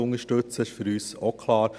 Das ist für uns auch klar.